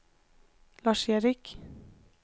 Lars-Erik